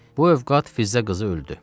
Bu əvqaat Firzə qızı öldü.